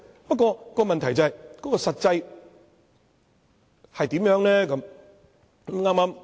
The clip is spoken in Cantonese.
不過，問題是，實際情況如何？